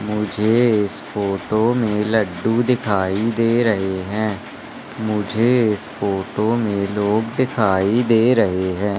मुझे इस फोटो में लड्डू दिखाई दे रहे हैं मुझे इस फोटो में लोग दिखाई दे रहे हैं।